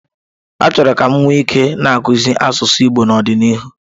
Achọrọ m ka m nwee ike na-akuzie asụsụ Igbo n'ọdịnihu.